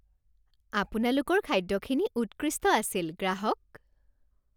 আপোনালোকৰ খাদ্যখিনি উৎকৃষ্ট আছিল গ্ৰাহক